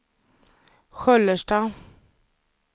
Sköllersta